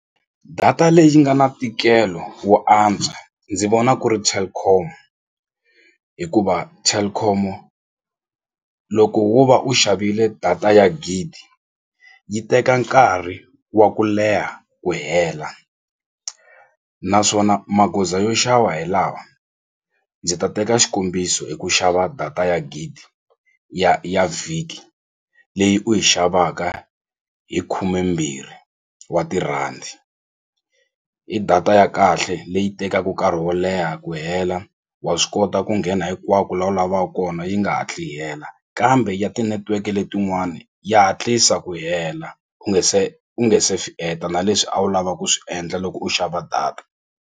Data leyi nga na ntikelo wo antswa ndzi vona ku ri Telkom hikuva Telkom-o loko wo va u xavile data ya gidi yi teka nkarhi wa ku leha ku hela naswona magoza yo xava hi lawa ndzi ta teka xikombiso hi ku xava data ya gidi ya ya vhiki leyi u yi xavaka hi khumembirhi wa tirhandi i data ya kahle leyi tekaku nkarhi wo leha ku hela wa swi kota ku nghena hinkwako la u lavaku kona yi nga hatli yi hela kambe ya ti-network letin'wani ya hatlisa ku hela u nga se u nge se na leswi a wu lava ku swi endla loko u xava data.